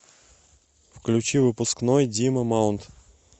включи выпускной дима маунт